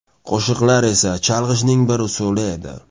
Qo‘shiqlar esa chalg‘ishning bir usuli edi.